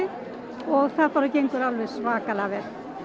og það bara gengur alveg svakalega vel